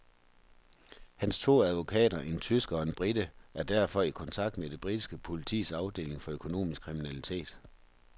Hans to advokater, en tysker og en brite, er derfor i kontakt med det britiske politis afdeling for økonomisk kriminalitet.